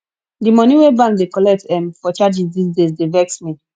di moni wey bank dey collect um for charges dese days dey vex me